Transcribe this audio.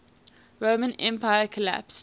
roman empire collapsed